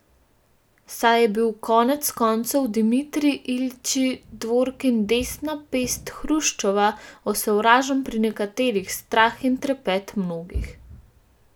Saj je bil konec koncev Dimitrij Iljič Dvorkin, desna pest Hruščova, osovražen pri nekaterih, strah in trepet mnogih.